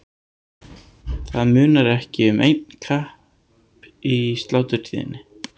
Það munar ekki um einn kepp í sláturtíðinni.